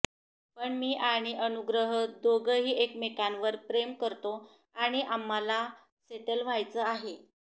पण मी आणि अनुग्रह दोघंही एकमेकांवर प्रेम करतो आणि आम्हाला सेटल व्हायचं आहे